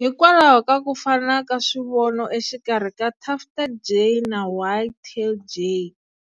Hikwalaho ka ku fana ka swivono exikarhi ka tufted jay na white-tailed jay,